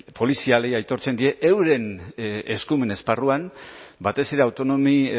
polizialei aitortzen die euren eskumen esparruan batez ere autonomi